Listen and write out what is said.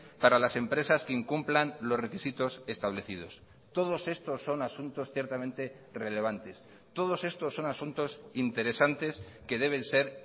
para las empresas que incumplan los requisitos establecidos todos estos son asuntos ciertamente relevantes todos estos son asuntos interesantes que deben ser